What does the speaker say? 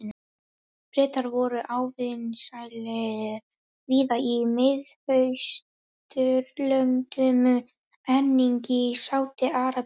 Bretar voru óvinsælir víða í Mið-Austurlöndum, einnig í Sádi-Arabíu.